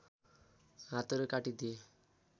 हातहरू काटी दिए